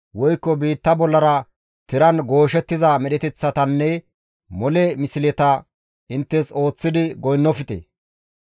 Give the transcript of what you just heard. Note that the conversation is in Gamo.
woykko biitta bollara tiran gooshettiza medheteththatanne mole misleta inttes ooththidi goynnofte.